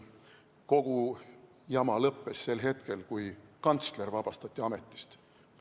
Kogu jama lõppes sel hetkel, kui kantsler vabastati ametist.